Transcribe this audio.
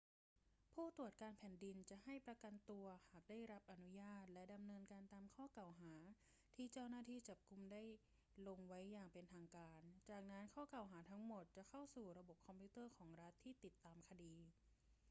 ผู้ตรวจการแผ่นดินจะให้ประกันตัวหากได้รับอนุญาตและดำเนินการตามข้อกล่าวหาที่เจ้าหน้าที่จับกุมได้ลงไว้อย่างเป็นทางการ จากนั้นข้อกล่าวหาทั้งหมดจะเข้าสู่ระบบคอมพิวเตอร์ของรัฐที่ติดตามคดี